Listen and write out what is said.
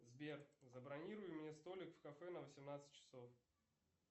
сбер забронируй мне столик в кафе на восемнадцать часов